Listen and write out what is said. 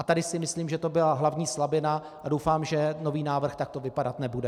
A tady si myslím, že to byla hlavní slabina, a doufám, že nový návrh takto vypadat nebude.